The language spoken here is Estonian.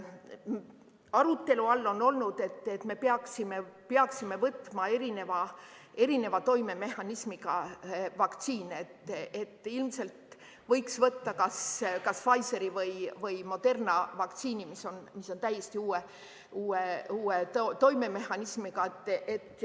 Arutelu all on olnud, et me peaksime võtma erineva toimemehhanismiga vaktsiine, et ilmselt võiks võtta kas Pfizeri või Moderna vaktsiini, mis on täiesti uue toimemehhanismiga.